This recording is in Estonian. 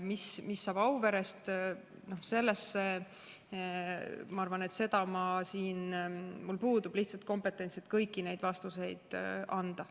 Mis saab Auverest, selles osas ma arvan, et mul puudub lihtsalt kompetents, et kõiki neid vastuseid anda.